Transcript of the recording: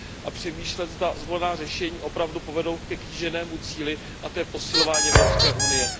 a přemýšlet, zda zvolená řešení opravdu povedou ke kýženému cíli, a to je posilování Evropské unie.